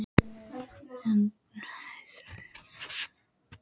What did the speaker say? Hrund: Eru íþróttahetjur framtíðarinnar hérna bak við okkur?